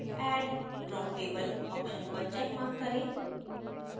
add drop table option पर checkmark करें